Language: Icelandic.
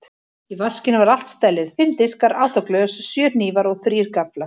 Í vaskinum var allt stellið: Fimm diskar, átta glös, sjö hnífar og þrír gafflar.